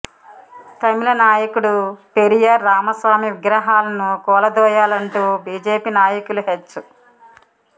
తమిళనాయకుడు పెరియార్ రామస్వామి విగ్రహాలను కూలదో యాలంటూ బీజేపీ నాయకులు హెచ్